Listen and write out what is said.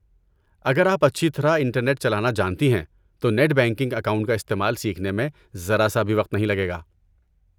اگر آپ اچھی طرح انٹرنیٹ چلانا جانتی ہیں، تو نیٹ بینکنگ اکاؤنٹ کا استعمال سیکھنے میں ذرا سا بھی وقت نہیں لگے گا۔